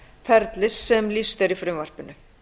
ferlis sem lýst er í frumvarpinu